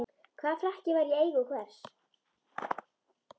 Hvaða frakki var í eigu hvers?